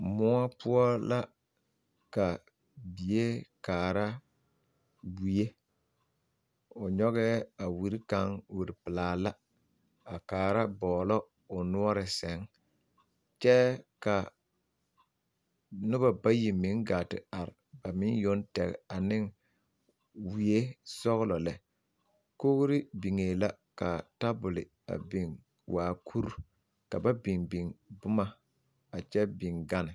Moɔ poɔ la ka bie kaara wie o nyɔgɛɛ a wiri kaŋ wiri pelaa la a kaara bɔglɔ o noɔre sɛŋ kyɛ ka noba bayi meŋ gaa te are ami yoŋ Toby ane wie sɔglɔ lɛ kogri biŋee la ka tabol a biŋ waa kuri ka ba biŋ biŋ boma a kyɛ biŋ gane.